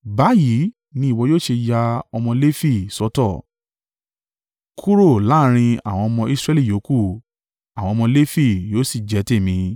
Báyìí ni ìwọ yóò ṣe ya ọmọ Lefi sọ́tọ̀, kúrò láàrín àwọn ọmọ Israẹli yòókù, àwọn ọmọ Lefi yóò sì jẹ́ tèmi.